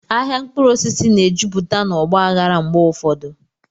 Ahịa mkpụrụ osisi na-ejupụta na ọgba aghara mgbe ụfọdụ.